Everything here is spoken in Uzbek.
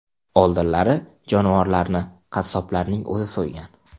Oldinlari jonivorlarni qassoblarning o‘zi so‘ygan.